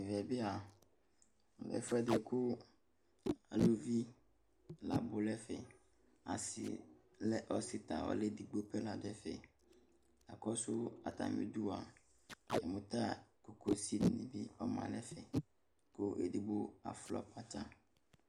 Ɛmɛ bia ɛfu ɛdi ku aluvi labu nu ɛfɛ asi lɛ ɔsi ta ɔlu edigbo gbo ladu ɛfɛ yakɔsu atami udua yamu ta kokosini bi ma nu ɛfɛ ku edigbo aflɔ kpatsa